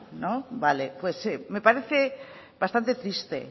pues me parece bastante triste